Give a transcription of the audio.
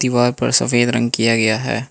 Wall पर सफेद रंग किया गया है।